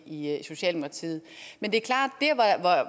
i socialdemokratiet det er klart